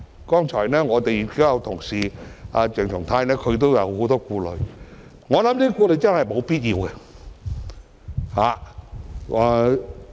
剛才我們同事鄭松泰議員都有很多顧慮，但我認為這些顧慮是沒有必要的。